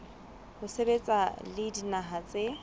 ho sebetsa le dinaha tse